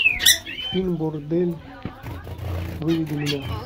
фильм бордель выведи мне